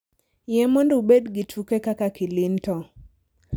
yie mondo ubed gi tuke mag kaka kilinto